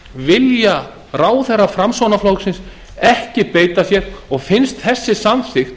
vilja ráðherrar framsóknarflokksins ekki beita sér og finnst þessi samþykkt